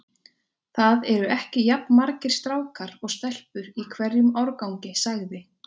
Það eru ekki jafn margir strákar og stelpur í hverjum árgangi sagði